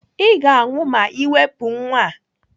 Ị ga-anwụ ma Ị wepụ nwa a!